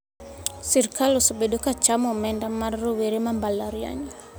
Sirkal osebedo ka chamo omenda mar rowere ma mbalariany